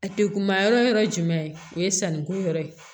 A degunma yɔrɔ jumɛn o ye sanni ko yɔrɔ ye